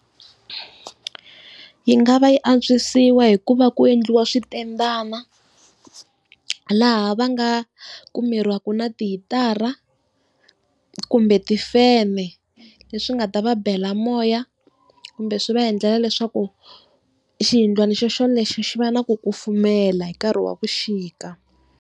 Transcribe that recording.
Yi nga va yi antswisiwa hikuva ku endliwa switendana, laha va nga kumeriwaka na tihitara kumbe tifene, leswi nga ta va bela moya kumbe swi va endlela leswaku xiyindlwana xoxolexo xi va na ku kufumela hi nkarhi wa vuxika.